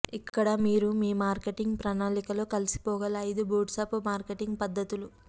ఇక్కడ మీరు మీ మార్కెటింగ్ ప్రణాళికలో కలిసిపోగల ఐదు బూట్స్ట్రాప్ మార్కెటింగ్ పద్ధతులు